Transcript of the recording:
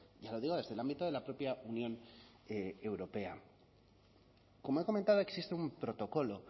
ya lo digo desde el ámbito de la propia unión europea como he comentado existe un protocolo